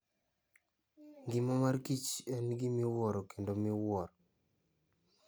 Ngima mar kichen gima iwuoro kendo miwuoro.